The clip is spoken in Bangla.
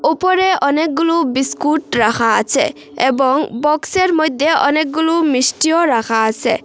উপরে অনেকগুলো বিস্কুট রাখা আছে এবং বক্সের মইধ্যে অনেকগুলো মিষ্টিও রাখা আসে।